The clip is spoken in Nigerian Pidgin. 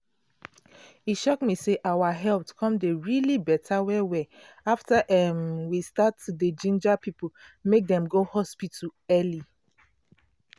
e shock me how our health come dey um beta well well after um we start to dey ginger people make dem go hospital early.